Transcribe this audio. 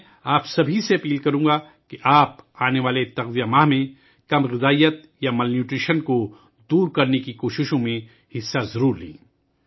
میں آپ سب سے گزارش کروں گا کہ آنے والے پوشن ماہ میں آپ کو تغذیہ کی قلت یا مال نیوٹریشن کو دور کرنے کی کوششوں میں ضرور حصہ لیں